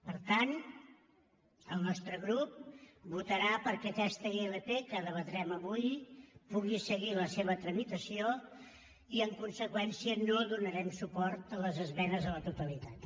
per tant el nostre grup votarà perquè aquesta ilp que debatrem avui pugui seguir la seva tramitació i en conseqüència no donarem suport a les esmenes a la totalitat